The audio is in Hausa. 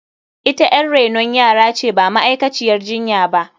Ita yar renon yara ce ba ma’aikaciyar jinya ba.